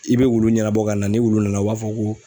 I bɛ wulu ɲɛnabɔ ka na ni wulu nana u b'a fɔ ko